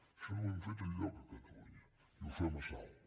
això no ho hem fet enlloc a catalunya i ho fem a salt